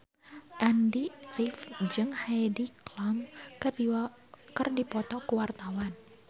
Andy rif jeung Heidi Klum keur dipoto ku wartawan